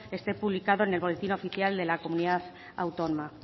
esté publicado en el boletín oficial de la comunidad autónoma